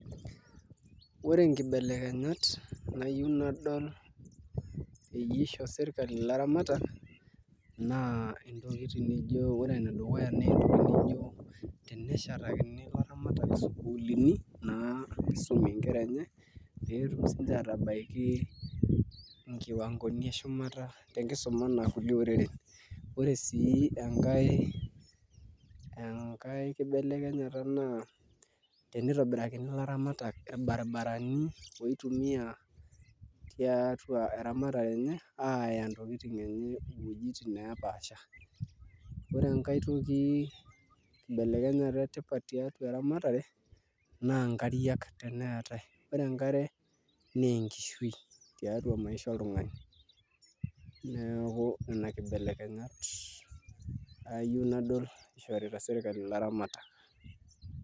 Ore inkibelekenyat nayieu nadol peyie isho serkali ilaramatak naa intokitin nijio ore enedukuya nentoki nijio teneshetakini ilaramatak isukulini naa pisumie inkera enye petum sinche atabaiki inkiwankoni eshumata tenkisuma anaa kulie oreren ore sii enkae enkae kibelekenyata naa tenitobirakini ilaramatak irbaribarani oitumia tiatua eramatare enye aaya intokiting enye iwuejitin nepaasha ore enkae toki kibelekenyata etipat tiatua eramatare naa nkariak teneetae ore enkare nenkishui tiatua enkishui oltung'ani neeku nena kibelekenyat ayieu nadol ishorita sirkali ilaramatak.